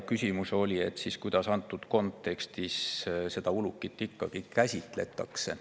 Küsimus oli, kuidas antud kontekstis ulukit ikkagi käsitletakse.